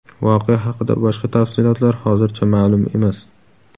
Voqea haqida boshqa tafsilotlar hozircha ma’lum emas.